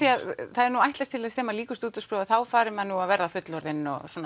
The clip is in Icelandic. það er ætlast til þess þegar lýkur stúdentsprófi að þá fari menn nú að verða fullorðnir